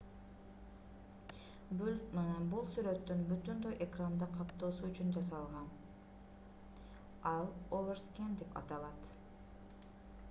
бул сүрөттүн бүтүндөй экранды каптоосу үчүн жасалган ал overscan деп аталат